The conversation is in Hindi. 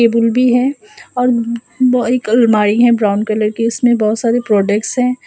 टेबुल भी है और वो एक अलमारी है ब्राउन कलर की उसमे बहुत सारे प्रोडक्ट्स है।